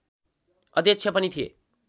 अध्यक्ष पनि थिए